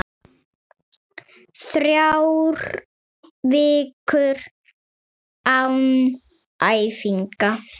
Þrjár vikur án æfinga?